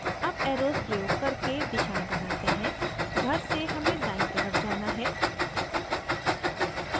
अब arrows प्रयोग करके दिशाएं बनाते हैं घर से हमें दायीं तरफ़ जाना है